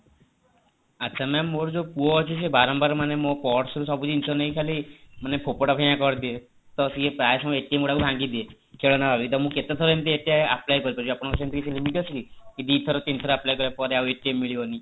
ଆଚ୍ଛା ma'am ମୋର ଯୋଉ ପୁଅ ଅଛି ସେ ବାରମ୍ବାର ମୋ purse ସବୁ ଜିନିଷ ନେଇକି ଫୋପଡା ଫିଙ୍ଗା କରିଦିଏ ତ ସିଏ ପ୍ରାୟ ସବୁ ଗୁରାକ ଭାଙ୍ଗିଦିଏ ଖେଳଣା ଭାବି ତ ମୁଁ କେତେଥର ଏମିତି apply କରିପାରିବି ଆପଣଙ୍କର ସେମିତି କିଛି limit ଅଛି କି ଦୁଇଥର କି ତିନି ଥର apply କଲାପରେ ଆଉ ମିଳିବନି